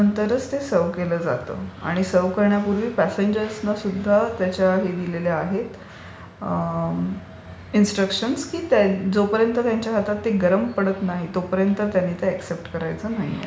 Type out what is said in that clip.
आणि त्याच्यानंतरच ते सर्व्ह केलं जातं. आणि सर्व्ह करण्यापूर्वी प्यासेंजर्सना सुद्धा त्याचे हे दिलेले आहेत. इन्स्ट्रकशनस दिलेले आहेत की जोपर्यंत ते त्यांच्या हातात गरम पडत नाही तोपर्यंत त्यांनी ते एक्सेप्ट करायचं नाहीये.